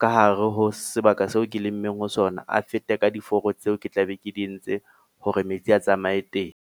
ka hare ho sebaka seo ke lemmeng ho sona, a fete ka diforo tseo ke tla be ke di entse, hore metsi a tsamaye teng.